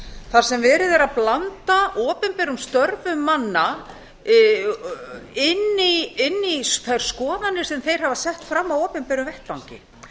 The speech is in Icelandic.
þar sem verið er að blanda opinberum störfum manna inn í þær skoðanir sem þeir hafa sett fram á opinberum vettvangi